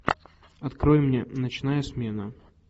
открой мне ночная смена